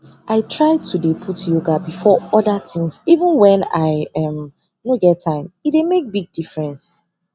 i try to dey put yoga before other things even wen i um nor get time e dey make big differnce